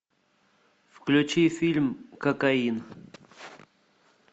включи фильм кокаин